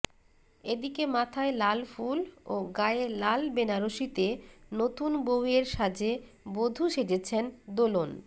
এদিকে মাথায় লাল ফুল ও গায়ে লাল বেনারসিতে নতুন বউয়ের সাজে বধূ সেজেছেন দোলন